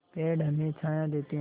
पेड़ हमें छाया देते हैं